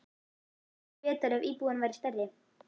Það væri betra ef íbúðin væri stærri.